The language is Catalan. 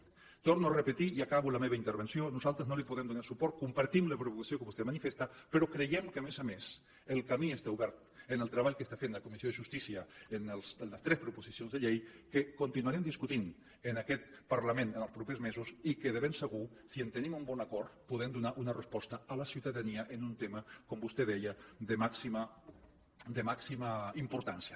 ho torno a repetir i acabo la meva intervenció nosaltres no li podem donar suport compartim la preocupació que vostè manifesta però creiem que a més a més el camí està obert en el treball que està fent la comissió de justícia amb les tres proposicions de llei que continuarem discutint en aquest parlament en els propers mesos i que de ben segur si obtenim un bon acord podem donar una resposta a la ciutadania en un tema com vostè deia de màxima de màxima importància